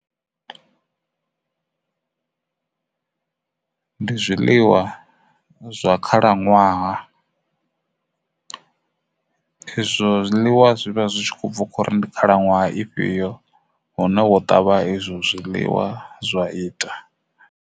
Ndi zwiḽiwa zwa khalaṅwaha izwo zwiḽiwa zwivha zwi tshi kho bva kho ri ndi khalaṅwaha ifhio hune vho ṱavha izwo zwiḽiwa zwa ita.